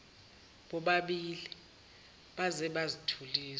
bobabili baze bazithulisa